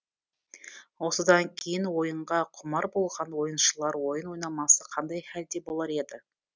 осыдан кейін ойынға құмар болған ойыншылар ойын ойнамаса қандай хәлде болар еді